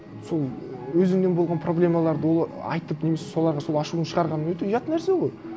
сол өзіңнен болған проблемаларды ол айтып немесе соларға сол ашуыңды шығарған өте ұят нәрсе ғой